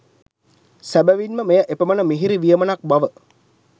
සැබවින්ම මෙය එපමණ මිහිරි වියමනක් බව